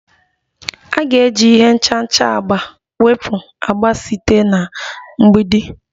A ga-eji ihe nchacha agba wepụ agba site na mgbidi